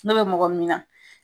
N'o bɛ mɔgɔ min na